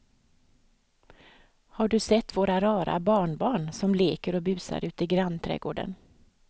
Har du sett våra rara barnbarn som leker och busar ute i grannträdgården!